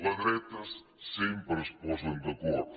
les dretes sempre es posen d’acord